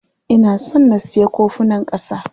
Ina son na siya kofunan ƙasa.